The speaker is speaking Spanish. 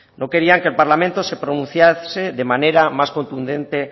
no querían que el parlamento se pronunciase de manera más contundente